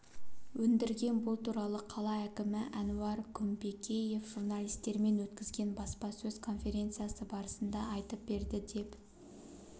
өндірген бұл туралы қала әкімі әнуар күмпекеев журналистермен өткізген баспасөз конференциясы барысында айтып берді деп